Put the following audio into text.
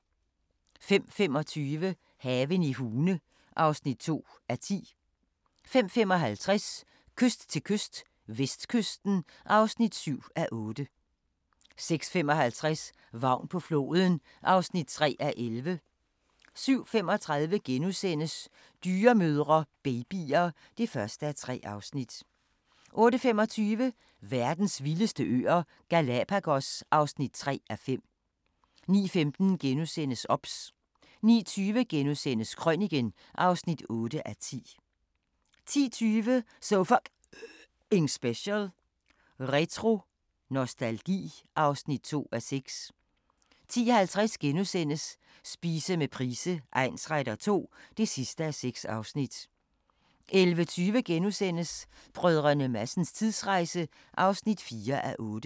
05:25: Haven i Hune (2:10) 05:55: Kyst til kyst - vestkysten (7:8) 06:55: Vagn på floden (3:11) 07:35: Dyremødre – babyer (1:3)* 08:25: Verdens vildeste øer – Galapagos (3:5) 09:15: OBS * 09:20: Krøniken (8:10)* 10:20: So F***ing Special: Retro-nostalgi (2:6) 10:50: Spise med Price egnsretter II (6:6)* 11:20: Brdr. Madsens tidsrejse (4:8)*